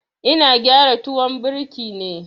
Ina gyara tuwon birki ne.